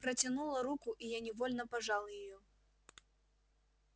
протянула руку и я невольно пожал её